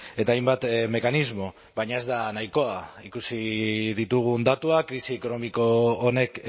eta hainbat mekanismo baina ez da nahikoa ikusi ditugun datuak krisi ekonomiko honek